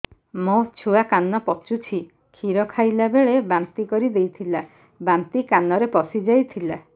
ମୋ ଛୁଆ କାନ ପଚୁଛି କ୍ଷୀର ଖାଇଲାବେଳେ ବାନ୍ତି କରି ଦେଇଥିଲା ବାନ୍ତି କାନରେ ପଶିଯାଇ ଥିଲା